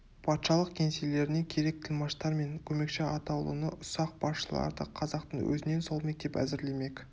патшалық кеңселеріне керек тілмаштар мен көмекші атаулыны ұсақ басшыларды қазақтың өзінен сол мектеп әзірлемек